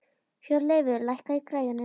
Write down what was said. Hjörleifur, lækkaðu í græjunum.